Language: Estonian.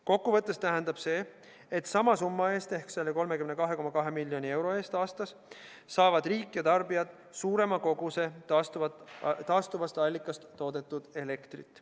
Kokkuvõttes tähendab see, et sama summa eest ehk 32,2 miljoni euro eest aastas saavad riik ja tarbijad suurema koguse taastuvast allikast toodetud elektrit.